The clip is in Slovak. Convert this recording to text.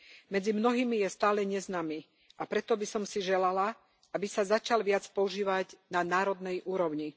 Medzi mnohými je stále neznámy, a preto by som si želala, aby sa začal viac používať na národnej úrovni.